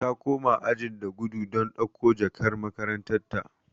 Ta koma ajin da gudu don dauko jakar makaranta.